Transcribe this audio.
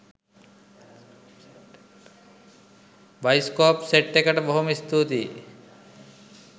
bioscope set එකට බොහොම ස්තුතියි